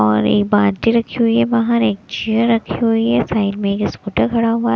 और एक बाल्टी रखी हुई है बाहर एक चेयर रखी हुई है। साइड में एक स्कूटर खड़ा हुआ है।